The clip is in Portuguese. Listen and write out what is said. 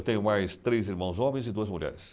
Tenho mais três irmãos homens e duas mulheres.